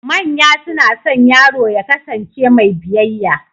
Manya suna son yaro ya ƙasance mai biyayya